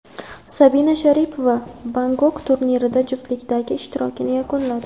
Sabina Sharipova Bangkok turnirida juftlikdagi ishtirokini yakunladi.